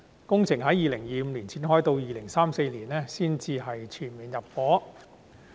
工程將於2025年展開，到了2034年才全面入伙。